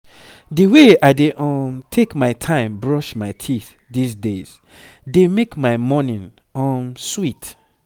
the way i dey um take my time brush my teeth these days dey make my morning um sweet